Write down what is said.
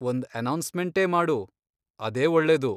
ಒಂದ್ ಅನೌನ್ಸ್ಮೆಂಟೇ ಮಾಡು, ಅದೇ ಒಳ್ಳೇದು.